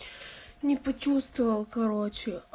не почувствовал короче